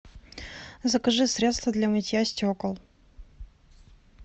закажи средство для мытья стекол